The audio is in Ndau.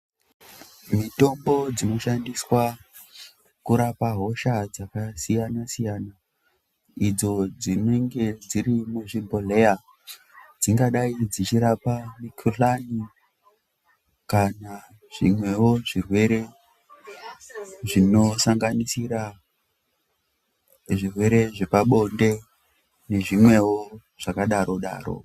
Mitombo dzinoshandiswa kurapa hosha dzakasiyana-siyana idzo dzinenge dziri muzvibhodhlera dzingadai dzichirapa mikhuhlane kana zvimwewo zvirwere zvinosanganisira zvirwere zvepabonde nezvimwewo zvakadaro-daro.